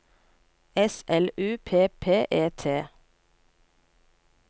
S L U P P E T